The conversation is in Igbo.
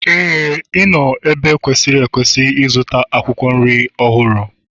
Éè, ị nọ n'ebe kwesịrị ekwesị ịzụta akwụkwọ nri ọhụrụ.